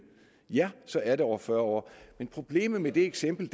ja så er det over fyrre år men problemet med det eksempel